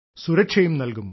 സുരക്ഷയും നൽകും